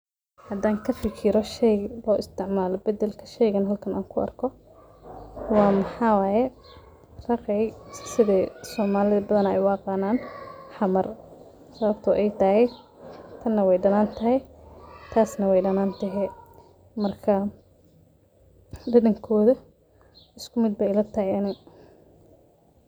Hadan kafijiro sheygan loo isticmaalo badalka sheygan halkan anku arko waa maxawaye raqey sidii somalida badanaa ay u aqanan xamar sababto ay tahay tan way dhanan tahay taasne way dhanan tehe marka dhedhankoda iskumid bay ila tahay ani.